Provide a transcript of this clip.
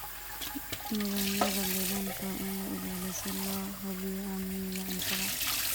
Nidaamyada deegaanka waa in la ilaaliyo si loo hubiyo amniga cuntada.